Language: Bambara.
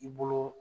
I bolo